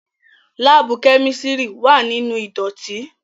Laabu kemistri wa ninu idotin